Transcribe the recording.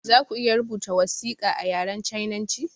Zaku iya rubuta wasiƙa a yaren sinanci?